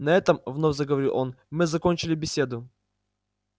на этом вновь заговорил он мы закончили беседу